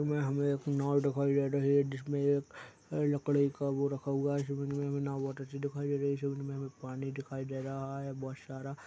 हमें एक नाव दिखाई दे रही है जिसमें एक लकड़ी का वो रखा हुआ है इस इमेज में हमे नाव बहुत अच्छी दिखाई दे रही है इस इमेज में हमे पानी दिखाई दे रहा है बहुत सारा--